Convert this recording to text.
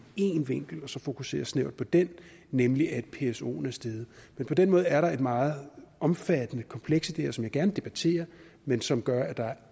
en vinkel og så fokusere snævert på den nemlig at psoen er stedet men på den måde er der et meget omfattende kompleks i det her som jeg gerne debatterer men som gør at der er